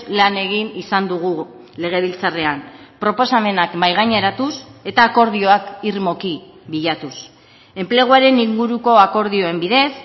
lan egin izan dugu legebiltzarrean proposamenak mahaigaineratuz eta akordioak irmoki bilatuz enpleguaren inguruko akordioen bidez